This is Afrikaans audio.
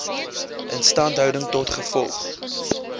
instandhouding tot gevolg